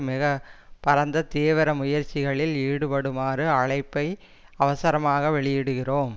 மிக பரந்த தீவிர முயற்சிகளில் ஈடுபடுமாறு அழைப்பை அவசரமாக வெளியிடுகிறோம்